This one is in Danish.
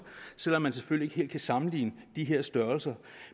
selv om man selvfølgelig ikke helt kan sammenligne de her størrelser